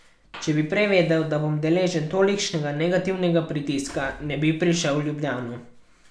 Če bi prej vedel, da bom deležen tolikšnega negativnega pritiska, ne bi prišel v Ljubljano.